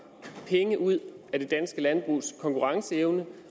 penge ud af det danske landbrugs konkurrenceevne